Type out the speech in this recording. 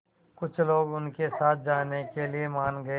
कुछ लोग उनके साथ जाने के लिए मान गए